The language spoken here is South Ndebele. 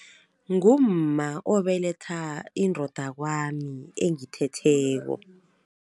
Ngumma obeletha indoda kwami engithetheko.